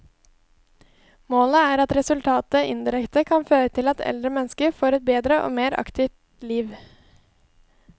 Målet er at resultatene indirekte kan føre til at eldre mennesker får et bedre og mer aktivt liv.